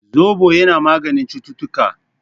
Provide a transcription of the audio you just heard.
Zobo yana maganin cututtuka